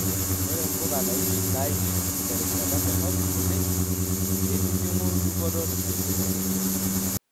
Ore mbuka naisho terishata dorop oleng keitijingu dupoto tesiokinoto.